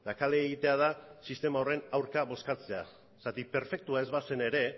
kale egitea da sistema horren aurka bozkatzea zergatik perfektua ez bazen ere